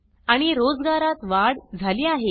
आणि रोजगारात वाढ झाली आहे